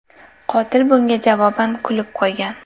Qotil bunga javoban kulib qo‘ygan.